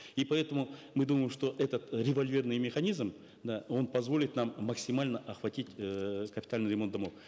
и поэтому мы думаем что этот э револьверный механизм да он позволит нам максимально охватить эээ капитальный ремонт домов